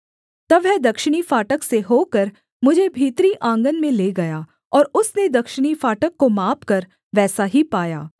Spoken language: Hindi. तब वह दक्षिणी फाटक से होकर मुझे भीतरी आँगन में ले गया और उसने दक्षिणी फाटक को मापकर वैसा ही पाया